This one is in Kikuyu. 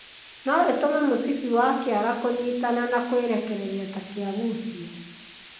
No ĩtũme mũcibi wa kĩara kũnyitana na kwĩrekereria ta kĩagucio.